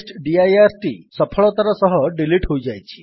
testdirଟି ସଫଳତାର ସହିତ ଡିଲିଟ୍ ହୋଇଯାଇଛି